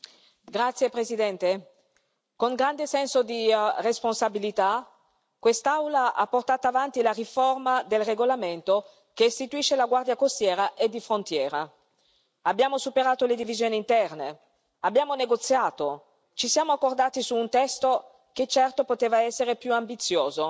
Signor Presidente, onorevoli colleghi, con grande senso di responsabilità quest'Aula ha portato avanti la riforma del regolamento che istituisce la Guardia di frontiera e costiera europea. Abbiamo superato le divisioni interne, abbiamo negoziato, ci siamo accordati su un testo che certo poteva essere più ambizioso,